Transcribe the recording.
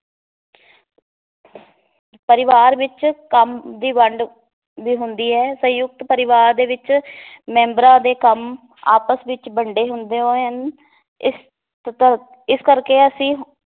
ਪਰਿਵਾਰ ਵਿਚ ਕੰਮ ਦੀ ਵੰਡ ਵੀ ਹੁੰਦੀ ਏ ਸੰਯੁਕਤ ਪਰਿਵਾਰ ਦੇ ਵਿਚ ਮੈਂਬਰਾਂ ਦੇ ਕੰਮ ਆਪਸ ਵਿਚ ਵੰਡੇ ਹੁੰਦੇ ਹਨ ਇਸ ਇਸ ਕਰਕੇ ਅਸੀਂ